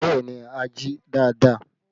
Bẹẹ ni, a jí dáadáa